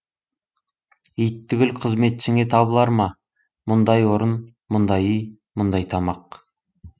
ит түгіл қызметшіңе табылар ма мұндай орын мұндай үй мұндай тамақ